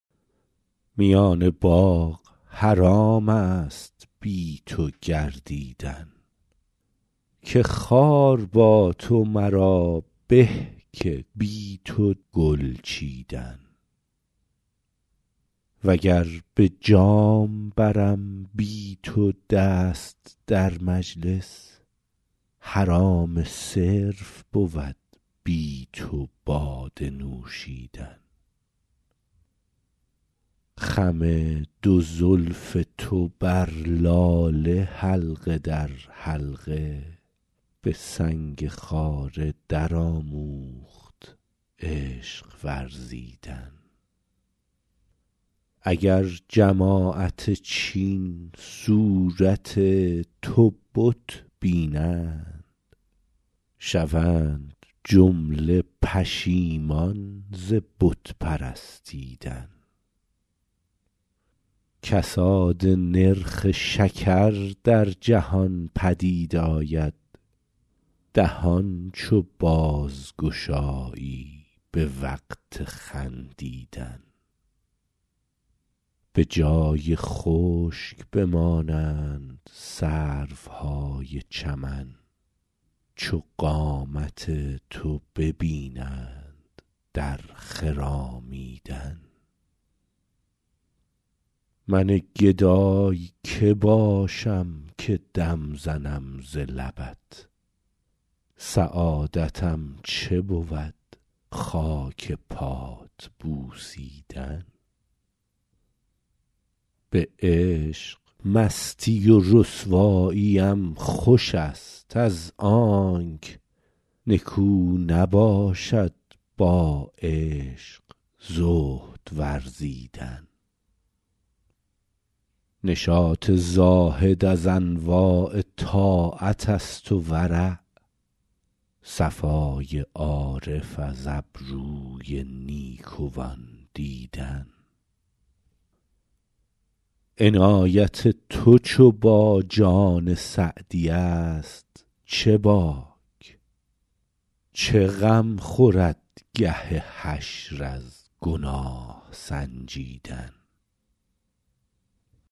میان باغ حرام است بی تو گردیدن که خار با تو مرا به که بی تو گل چیدن و گر به جام برم بی تو دست در مجلس حرام صرف بود بی تو باده نوشیدن خم دو زلف تو بر لاله حلقه در حلقه به سنگ خاره درآموخت عشق ورزیدن اگر جماعت چین صورت تو بت بینند شوند جمله پشیمان ز بت پرستیدن کساد نرخ شکر در جهان پدید آید دهان چو بازگشایی به وقت خندیدن به جای خشک بمانند سروهای چمن چو قامت تو ببینند در خرامیدن من گدای که باشم که دم زنم ز لبت سعادتم چه بود خاک پات بوسیدن به عشق مستی و رسواییم خوش است از آنک نکو نباشد با عشق زهد ورزیدن نشاط زاهد از انواع طاعت است و ورع صفای عارف از ابروی نیکوان دیدن عنایت تو چو با جان سعدی است چه باک چه غم خورد گه حشر از گناه سنجیدن